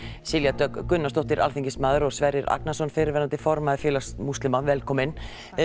Silja Dögg Gunnarsdóttir alþingismaður og Sverrir Agnarsson fyrrverandi formaður félags múslima velkomin